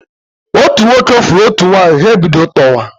Otu nwoke fụrụ otu nwanyi, ha ebido tọwa.